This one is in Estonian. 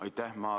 Aitäh!